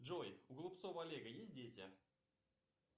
джой у голубцова олега есть дети